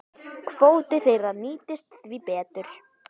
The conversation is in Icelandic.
Kvóti þeirra nýtist því betur.